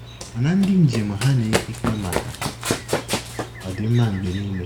Mana ndị njem ha ana-eke ike maka ọ dị mma Mgbe niile?